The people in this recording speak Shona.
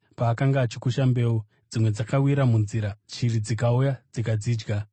Paakanga achikusha mbeu, dzimwe dzakawira munzira, shiri dzikauya dzikadzidya.